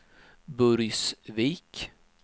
Burgsvik